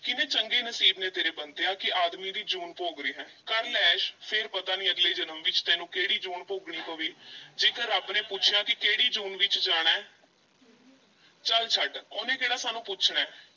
ਕਿੰਨੇ ਚੰਗੇ ਨਸੀਬ ਨੇ ਤੇਰੇ ਬੰਤਿਆ ਕਿ ਆਦਮੀ ਦੀ ਜੂਨ ਭੋਗ ਰਿਹੈਂ, ਕਰ ਲੈ ਐਸ਼ ਫੇਰ ਪਤਾ ਨਹੀਂ ਅਗਲੇ ਜਨਮ ਵਿੱਚ ਤੈਨੂੰ ਕਿਹੜੀ ਜੂਨ ਭੋਗਣੀ ਪਵੇ ਜੇਕਰ ਰੱਬ ਨੇ ਪੁੱਛਿਆ ਵੀ ਕਿਹੜੀ ਜੂਨ ਵਿੱਚ ਜਾਣਾ ਐ ਚੱਲ ਛੱਡ ਉਹਨੇ ਕਿਹੜਾ ਸਾਨੂੰ ਪੁੱਛਣਾ ਹੈ।